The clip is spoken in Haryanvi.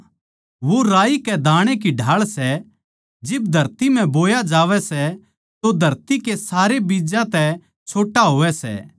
वो राई कै दाणै की ढाळ सै जिब धरती म्ह बोया जावै सै तो धरती कै सारे बीज्जां तै छोट्टा होवै सै